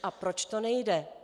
A proč to nejde."